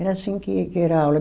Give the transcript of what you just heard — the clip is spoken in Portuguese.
Era assim que que era a aula.